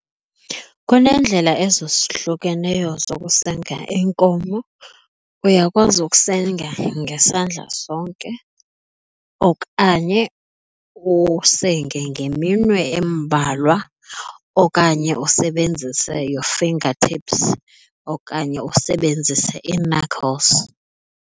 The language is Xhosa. Kuneendlela ezohlukeneyo zokusenga iinkomo. Uyakwazi ukusenga ngesandla sonke okanye usenge ngeminwe embalwa okanye usebenzise your finger tips okanye usebenzise ii-knuckles.